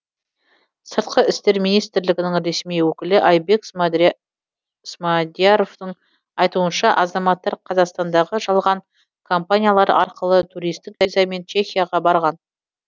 сыртқы істер министрлігінің ресми өкілі айбек смадияровтың айтуынша азаматтар қазақстандағы жалған компаниялар арқылы туристік визамен чехияға барған